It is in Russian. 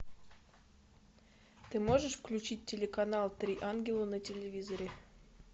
ты можешь включить телеканал три ангела на телевизоре